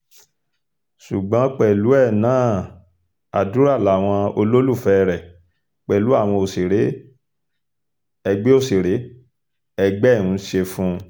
ṣùgbọ́n pẹ̀lú ẹ náà àdúrà làwọn olólùfẹ́ rẹ pẹ̀lú àwọn òṣèré ẹgbẹ́ òṣèré ẹgbẹ́ ẹ ń ṣe fún un